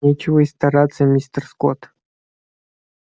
нечего и стараться мистер скотт